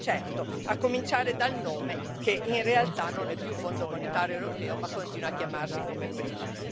Sì, certo, a cominciare dal nome, che in realtà non è più Fondo monetario europeo, ma continua a chiamarsi come prima.